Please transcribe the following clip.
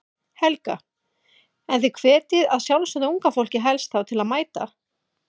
Helga: En þið hvetjið að sjálfsögðu unga fólkið helst þá til að mæta?